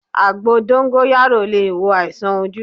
Àgbo dóngóyárò le è wo àìsàn ojú